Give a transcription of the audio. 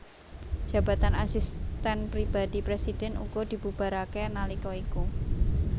Jabatan Asisten Pribadi Presiden uga dibubarake nalika iku